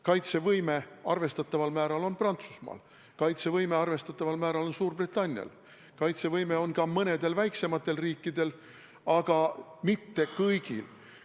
Kaitsevõime arvestataval määral on Prantsusmaal, kaitsevõime arvestataval määral on Suurbritannial, kaitsevõime on ka mõnedel väiksematel riikidel, aga mitte kõigil.